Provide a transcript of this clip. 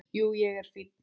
Jú, ég er fínn.